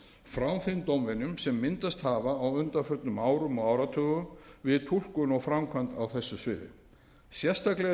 frá þeim dómvenjum sem myndast hafa á undanförnum árum og áratugum við túlkun og framkvæmd á þessu sviði sérstaklega er